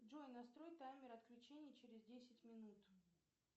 джой настрой таймер отключения через десять минут